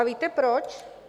A víte proč?